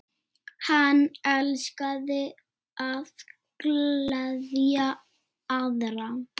Hann elskaði að gleðja aðra.